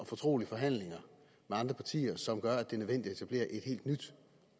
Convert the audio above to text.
fortrolige forhandlinger med andre partier som gør at det er nødvendigt at etablere et helt nyt